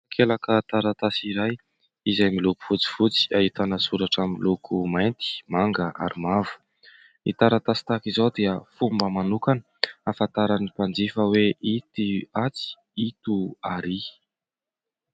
Takelaka taratasy iray izay miloko fotsifotsy ahitana soratra miloko mainty, manga ary mavo. Ny taratasy tahaka izao dia fomba manokana ahafantaran'ny mpanjifa hoe ito atsy ito arỳ.